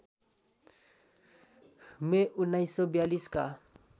मे १९४२ का